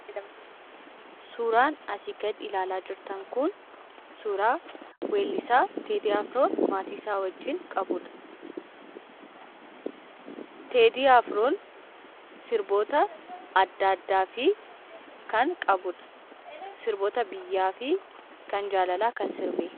Suuraan asii gad ilaalaa jirtan kun, suuraa weellisaa Teedii Afroon maatiisaa wajiin qabudha. Teedii Afroon sirboota adda addaafi kan qabudha. Sirboota biyyaafi kan jaalalaa kan sirbedha.